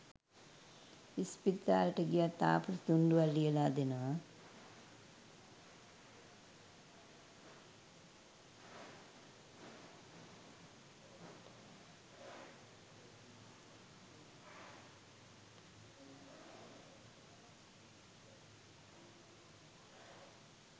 ඉස්පිරිතාලෙට ගියත් ආපසු තුන්ඩුවක් ලියලා දෙනවා